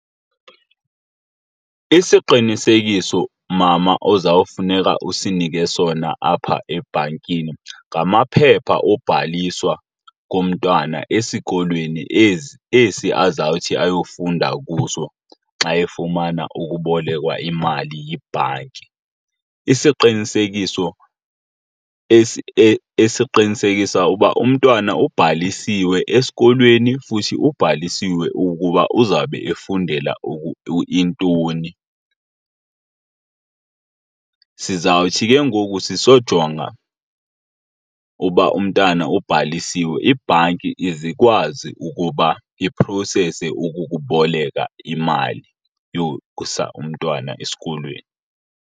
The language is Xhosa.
Isiqinisekiso mmama, oza kufuneka usinike sona apha ebhankini ngamaphepha obhaliswa komntwana esikolweni esi azawuthi ayofunda kuso xa efumana ukubolekwa imali yibhanki. Isiqinisekiso esiqinisekisa uba umntwana ubhalisiwe esikolweni futhi ubhalisiwe ukuba uzawube efundela intoni. Sizawuthi ke ngoku sisjonga uba umntana ubhalisiwe, ibhanki izikwazi ukuba iprosese ukukuboleka imali yokusa umntwana esikolweni.